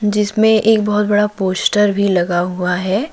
जिसमें एक बहुत बड़ा पोस्टर भी लगा हुआ है।